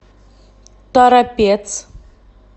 торопец